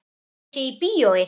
Að ég sé í bíói.